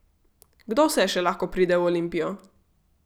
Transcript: Kdo vse še lahko pride v Olimpijo?